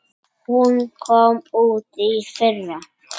Hún kom út í fyrra.